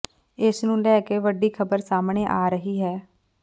ਇਸ ਨੂੰ ਲੈ ਕੇ ਵੱਡੀ ਖ਼ਬਰ ਸਾਹਮਣੇ ਆ ਰਹੀ ਹੈ